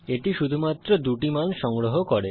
এটি শুধুমাত্র দুটি মান সংগ্রহ করে